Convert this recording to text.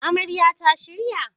Amarya ta shirya??